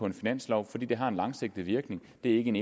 en finanslov fordi den har en langsigtet virkning det er ikke en